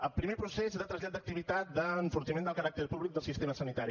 el primer procés de trasllat d’activitat d’enfortiment del caràcter públic del sistema sanitari